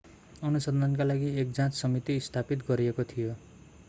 अनुसन्धानका लागि एक जाँच समिति स्थापित गरिएको थियो